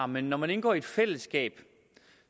men når man indgår i et fællesskab